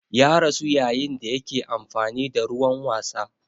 Ya rasu yayin da yake amfani da ruwan wasa.